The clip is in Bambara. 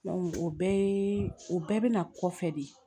o bɛɛ yee o bɛɛ bɛna kɔfɛ de